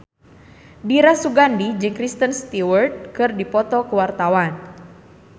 Dira Sugandi jeung Kristen Stewart keur dipoto ku wartawan